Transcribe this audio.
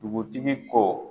Dugutigi ko..